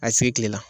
A sigi kilela